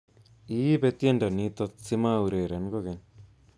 Iibe tiendo nito simaureren kokeny